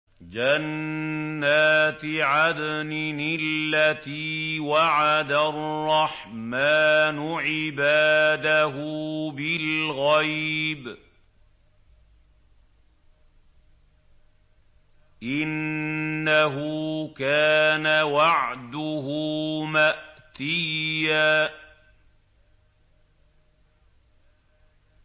جَنَّاتِ عَدْنٍ الَّتِي وَعَدَ الرَّحْمَٰنُ عِبَادَهُ بِالْغَيْبِ ۚ إِنَّهُ كَانَ وَعْدُهُ مَأْتِيًّا